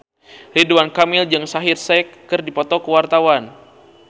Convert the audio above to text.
Ridwan Kamil jeung Shaheer Sheikh keur dipoto ku wartawan